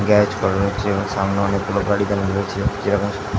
garage করা রয়েছে এবং সামনে অনকেগুলো গাড়ি দাড়ানো রয়েছে যেরকম --